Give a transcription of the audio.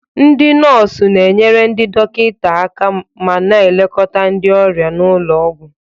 Ndị nọọsụ na-enyere ndị dọkịta aka ma na-elekọta ndị ọrịa n'ụlọ ọgwụ.